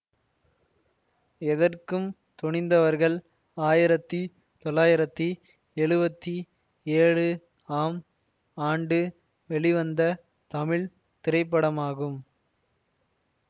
எதற்கும் துணிந்தவர்கள் ஆயிரத்தி தொள்ளாயிரத்தி எழுவத்தி ஏழு ஆம் ஆண்டு வெளிவந்த தமிழ் திரைப்படமாகும்